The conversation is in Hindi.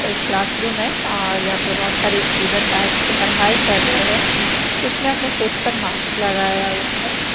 एक क्लासरूम है और यहाँ पर बहुत सारे स्टूडेंट बैठ के पढ़ाई कर रहे हैं कुछ ने अपने फेस पर मास्क लगाया हुआ है।